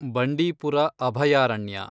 ಬಂಡೀಪುರ ಅಭಯಾರಣ್ಯ